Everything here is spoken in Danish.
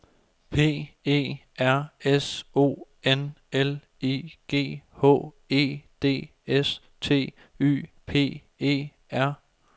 P E R S O N L I G H E D S T Y P E R